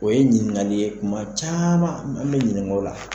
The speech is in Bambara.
O ye ɲininkali ye kuma caman an bɛ ɲininko la.